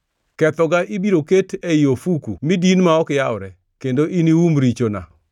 Kethoga ibiro ket ei ofuku mi din ma ok yawre, kendo inium richona.